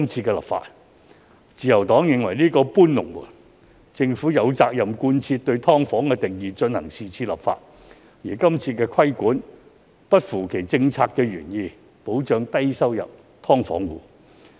政府有責任在是次修例貫徹對"劏房"的定義，而擴大規管並不符合其政策原意，即保障低收入"劏房戶"。